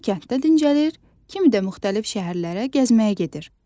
Kimi kənddə dincəlir, kimi də müxtəlif şəhərlərə gəzməyə gedir.